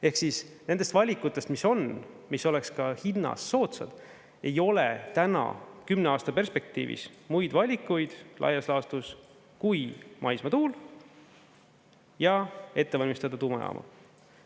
Ehk siis nendest valikutest, mis on, mis oleks ka hinnas soodsad, ei ole täna kümne aasta perspektiivis muid valikuid laias laastus kui maismaatuul ja ette valmistada tuumajaama.